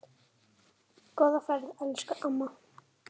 Góða ferð, elsku amma.